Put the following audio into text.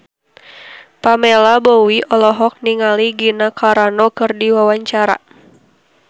Pamela Bowie olohok ningali Gina Carano keur diwawancara